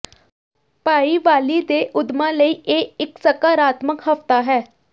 ਭਾਈਵਾਲੀ ਦੇ ਉੱਦਮਾਂ ਲਈ ਇਹ ਇਕ ਸਕਾਰਾਤਮਕ ਹਫ਼ਤਾ ਹੈ